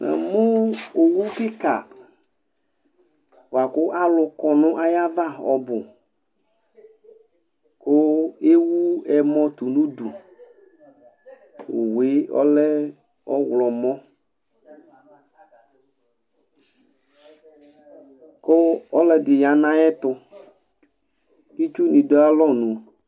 Namʋ owu kika buakʋ alʋkɔ nʋ ayava ɔbʋ kʋ ewʋ ɛmɔ tʋ nʋ ʋdʋ owʋ ɔlɛ ɔwlɔmɔ kʋ ɔlʋɛdi yanʋ ayʋ ɛtʋ kʋ itsʋ ni dualɔnʋ